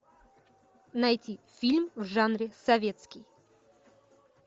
найти фильм в жанре советский